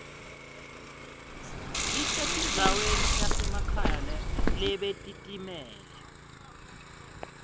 lisetindzaweni tasemakhaya lebetitimele